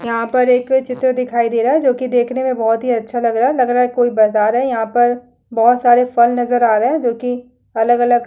यहाँ पर एक चित्र दिखाई दे रहा है जो कि देकने में बोहोत अच्छा लग रहा हैलग रहा है कोई बाजार है। यहाँ परबोहोत सारे फल नज़र आ रहा हैं जो कि अलग-अलग --